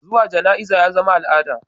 Zuwa jana'iza yazama a'lada